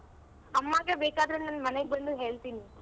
ಅಮ್ಮಗೆ ಬೇಕಾದ್ರೆ ನಾನ್ ಮನೆಗ್ ಬಂದು ಹೇಳ್ತೀನಿ.